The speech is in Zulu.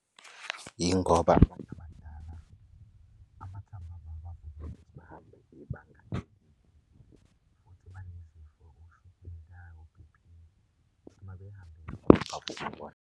Yingoba abantu abadala amathambo, abo akavumi ukuthi bahambe ibanga elide. Futhi banezifo oshukela, o-B_P. Uma behamba .